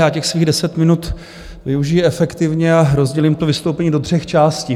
Já těch svých deset minut využiji efektivně a rozdělím to vystoupení do tří částí.